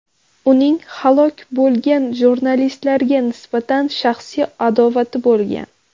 Uning halok bo‘lgan jurnalistlarga nisbatan shaxsiy adovati bo‘lgan.